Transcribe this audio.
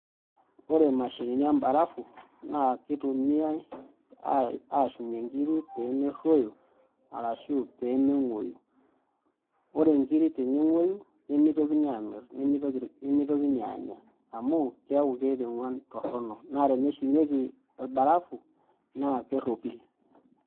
Ore mashinini embarafu na kitumiai ashumie nkiri pemerruoyo, arashu pemeng'oyu. Ore nkiri teneng'oyu, nimitokini amir nimitoki anya. Amu, keeku keeta eng'uan torronok. Na teneshumieki orbarafu, naa kerropil.